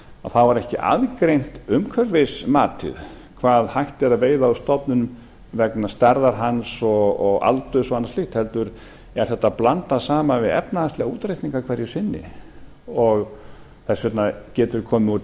þá er ekki aðgreint umhverfismatið hvað hægt er að veiða úr stofninum vegna stærðar hans og aldurs og annars slíks heldur er þetta blandað saman við efnahagslega útreikninga hverju sinni þess vegna getur komið út